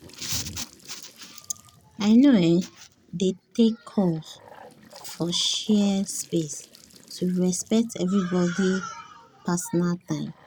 i no um dey take calls for shared space to respect everybody’ personal time.